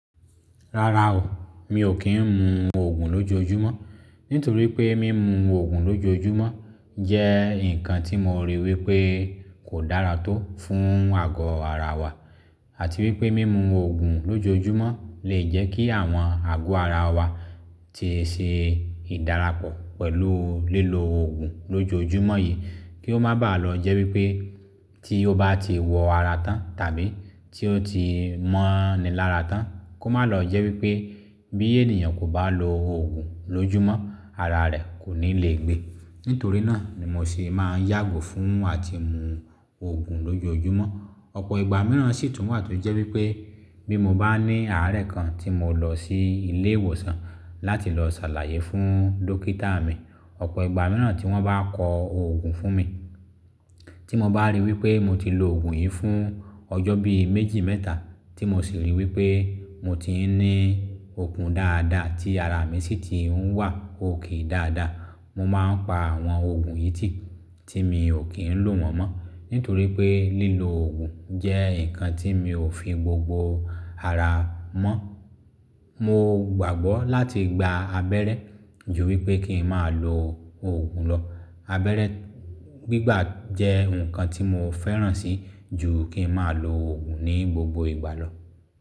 Rárá o, mi ò kì ń mu òògùn lójoojúmọ́. Nítorí pé mímu òògùn lójoojúmọ́ jẹ́ nǹkan tí mo ríi wí pé kò dára tó fún àgọ́ ara wa àti wípé mímu òògùn lójoojúmọ́ lè jẹ́ kí àwọn àgọ́ ara wa tí í ṣe ìdàràpọ̀ pẹ̀lú lílo òògùn lójoojúmọ́ yìí. Kí ó máá baà lọọ jẹ́ wípé tí ó bá ti wọ ara tán tàbí tí ó ti mọ́ni lára tán, kó má lọ jẹ́ wípé bí ènìyàn kò bá lo òògùn lójúmọ́ ara rẹ̀ kò ní lè gbe. Nítorí náà ni mo ṣe máa ń yàgò fún àti mu òògùn lójoojúmọ́. Ọ̀pọ̀ ìgbà mìíràn sì tún wà tí ó jẹ́ wípé bí mo bá ní àárẹ̀ kan tí mo lọ sí ilé ìwòsàn láti lọ ṣàlàyé fún dókítà mi. Ọ̀pọ̀ ìgbà mìíràn tí wọ́n bá kọ òògùn fún mi, tí mo bá ríi wí pé mo ti lo òògùn yìí fún ọjọ́ bí méjì mẹ́ta tí mo sì ríi wí pé mo ti ń ní okun dáadáa tí ara mi sì ti ń wà òkè dáadáa. Mo máa ń pa àwọn òògùn yìí tí, tí mi ò kí ń lò wọ́n mọ́. Nítorí pé lílo òògùn jẹ́ nǹkan tí mi ò fi gbogbo ara mọ́. Mo gbàgbọ́ láti gba abẹ́rẹ́ ju wípé kí n máa lo òògùn lọ Abẹ́rẹ́ gbígbà jẹ́ nnkan tí mo fẹ́ràn sí jù k8 n máa l'òògùn ní gbogbo ìgbà lọ.